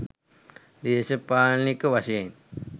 දේශපාලනික වශයෙන්